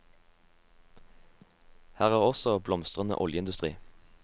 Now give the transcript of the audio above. Her er også en blomstrende oljeindustri.